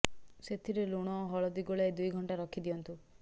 ସେଥିରେ ଲୁଣ ଓ ହଳଦୀ ଗୋଳାଇ ଦୁଇ ଘଣ୍ଟା ରଖି ଦିଅନ୍ତୁ